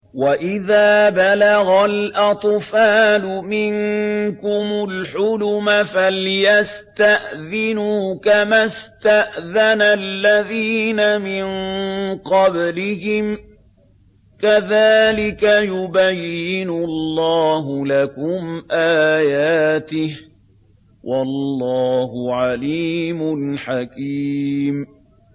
وَإِذَا بَلَغَ الْأَطْفَالُ مِنكُمُ الْحُلُمَ فَلْيَسْتَأْذِنُوا كَمَا اسْتَأْذَنَ الَّذِينَ مِن قَبْلِهِمْ ۚ كَذَٰلِكَ يُبَيِّنُ اللَّهُ لَكُمْ آيَاتِهِ ۗ وَاللَّهُ عَلِيمٌ حَكِيمٌ